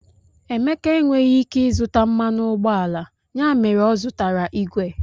Emeka enweghị ike ịzụta mmanụ ụgbọala, ya mere ọ zụtara igwe.